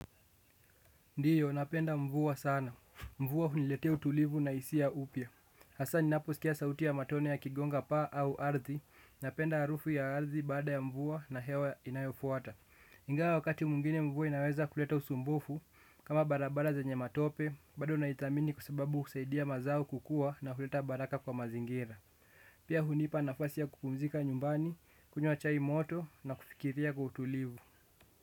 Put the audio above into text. Ndiyo, napenda mvua sana. Mvua huniletea utulivu na hisia upia. Hasa ni napo skia sauti ya matone ya kigonga pa au ardhi. Napenda arufu ya ardhi baada ya mvua na hewa inayofuata. Ingawa wakati mwngine mvua inaweza kuleta usumbufu kama barabara zenye matope, bado na ithamini kwa sababu husaidia mazao kukua na kuleta baraka kwa mazingira. Pia hunipa nafasi ya kupumzika nyumbani, kunywa chai moto na kufikiria kwa utulivu.